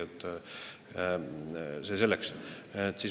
Aga see selleks.